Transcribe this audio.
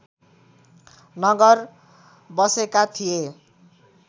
नगर बसेका थिए